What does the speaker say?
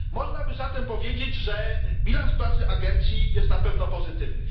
Można by zatem powiedzieć, że bilans pracy agencji jest na pewno pozytywny.